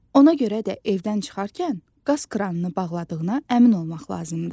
Ona görə də evdən çıxarkən qaz kranını bağladığına əmin olmaq lazımdır.